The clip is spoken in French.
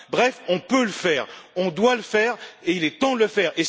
Bref, on peut le faire, on doit le faire et il est temps de le faire!